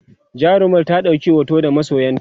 jarumar ta ɗauki hoto da masoyanta?